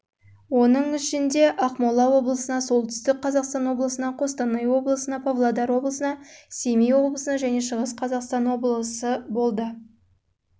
оның ішінде жылдары ақмола облысына солтүстік қазақстан облысына қостанай облысына павлодар облысына семей облысына шығыс қазақстан